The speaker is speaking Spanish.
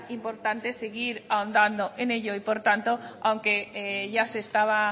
importante seguir ahondando en ello y por tanto aunque ya se estaba